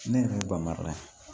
Ne yɛrɛ ye bamara